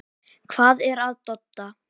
Hvað er að Dodda?